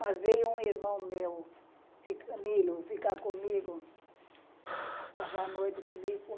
Mas veio um irmão meu, Milo, ficar comigo, passar a noite comigo.